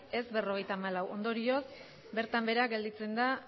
ez berrogeita hamalau ondorioz bertan bera gelditzen da